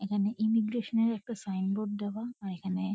এখানে ইমিগ্র্যাশন -এর একটা সাইন বোর্ড দেওয়া আর এখানে--